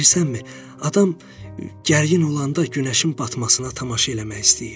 Bilirsənmi, adam gərgin olanda günəşin batmasına tamaşa eləmək istəyir.